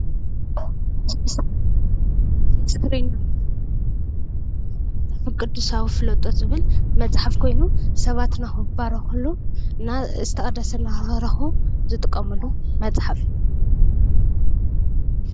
እዚ ስክሪን ንሪኦ ዘለና ስባት ንኽባረኹ ዝተቀደሰ ንኽረኽቡ ዝጥሙሉ መፅሓፍ እዩ።